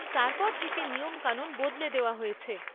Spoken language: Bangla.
তারপর থেকে নিয়মকানুন বদলে দেওয়া হয়েছে।